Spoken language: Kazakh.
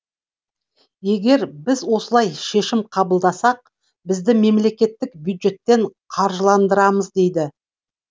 егер біз осылай шешім қабылдасақ бізді мемлекеттік бюджеттен қаржыландырамыз дейді